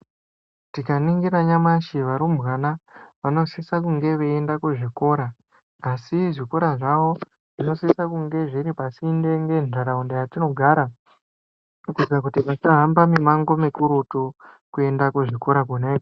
Tikaningira nyamashi varumbwana vanosisa kunge veienda kuzvikora asi zvikora zvawo zvinosisa kunge zviri pasinde ngenharaunda yetinogara kuitira kuti vasahamba mimango mikurutu kuenda kuzvikora kona